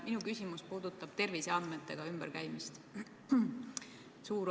Minu küsimus puudutab terviseandmetega ümberkäimist.